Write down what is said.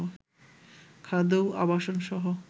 খাদ্য ও আবাসনসহ